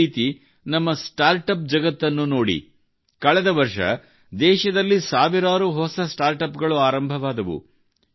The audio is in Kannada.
ಇದೇ ರೀತಿ ನಮ್ಮ ಸ್ಟಾರ್ಟ್ ಅಪ್ ಜಗತ್ತನ್ನು ನೋಡಿ ಕಳೆದ ವರ್ಷ ದೇಶದಲ್ಲಿ ಸಾವಿರಾರು ಹೊಸ ಸ್ಟಾರ್ಟಪ್ ಗಳು ಆರಂಭವಾದವು